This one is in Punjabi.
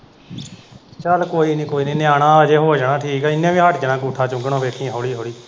ਚੱਲ ਕੋਈ ਨੀ, ਕੋਈ ਨੀ, ਨਿਆਣਾ ਅਜੇ ਹੋ ਜਾਣਾ ਠੀਕ, ਇਹਨੇ ਵੀ ਹੱਟ ਜਾਣਾ ਅੰਗੂਠਾ ਚੁੰਗਣੋ ਵੇਖੀਂ ਹੌਲੀ ਹੌਲੀ।